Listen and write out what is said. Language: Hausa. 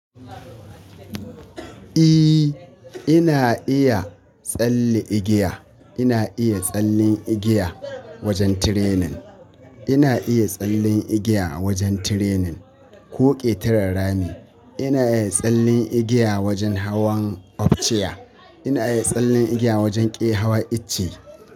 Eh ina iya tsalle igiya. Ina iya tsallen igiya wajen training. Ina iya tsallen igiya a wajen training ko ƙetaren rami. Ina iya tsallin igiya wajen hawan ofciya. Ina iya tsallin igiya wajen ƙe hawa icce.